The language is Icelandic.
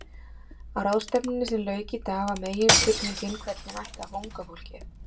Á ráðstefnunni sem lauk í dag var meginspurningin hvernig ætti að fá unga fólkið?